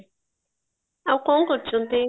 ଆଉ କଣ କରୁଚନ୍ତି